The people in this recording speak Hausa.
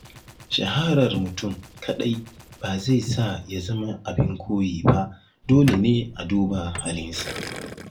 Shaharar mutum kaɗai ba zai sa ya zama abin koyi ba, dole ne a duba halinsa.